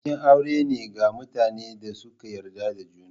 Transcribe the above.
Bikin aure ne ga mutanen da suka yarda da juna.